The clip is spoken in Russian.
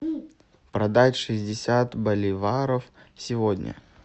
продать шестьдесят боливаров сегодня